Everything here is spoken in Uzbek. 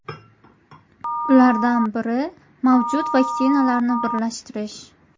Ulardan biri mavjud vaksinalarni birlashtirish.